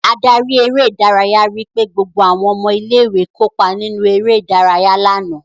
Adarí eré-idárayá ri pé gbogbo àwọn ọmọ ilé-ìwé kópa nínú eré-idárayá lánàá.